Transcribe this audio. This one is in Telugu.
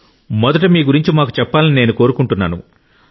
మొదట మీ గురించి మాకు చెప్పాలని నేను కోరుకుంటున్నాను